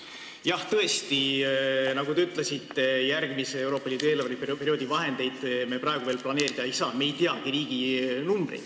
Jah, tõesti, nagu te ütlesite, järgmise Euroopa Liidu eelarveperioodi vahendeid me praegu veel planeerida ei saa, me ei teagi riigi numbreid.